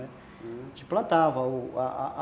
A gente plantava.